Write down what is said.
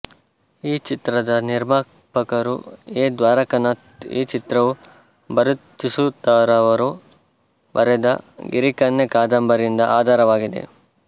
ಈ ಚಿತ್ರದ ನಿರ್ಮಾಪಕರು ಎ ದ್ವಾರಕನಾಥ್ ಈ ಚಿತ್ರವು ಭರತೀಸುತರವರು ಬರೆದ ಗಿರಿಕನ್ಯೆ ಕಾದಂಬರಿಯಿಂದ ಆಧಾರವಾಗಿದೆ